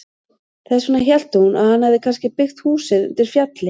Þess vegna hélt hún að hann hefði kannski byggt húsið undir fjalli.